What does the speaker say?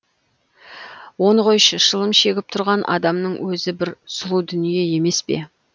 оны қойшы шылым шегіп тұрған адамның өзі бір сұлу дүние емес пе